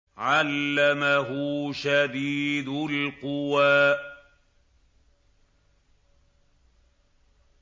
عَلَّمَهُ شَدِيدُ الْقُوَىٰ